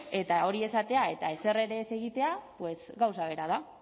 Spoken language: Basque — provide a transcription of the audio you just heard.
eta hori esatea eta ezer ere ez egitea pues gauza bera da